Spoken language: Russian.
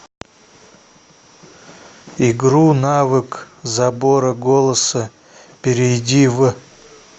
игру навык забора голоса перейди в